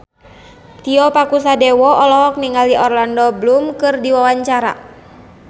Tio Pakusadewo olohok ningali Orlando Bloom keur diwawancara